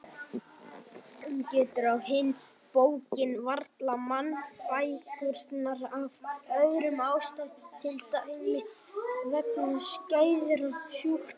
Hann getur á hinn bóginn varla mannfækkunar af öðrum ástæðum til dæmis vegna skæðra sjúkdóma.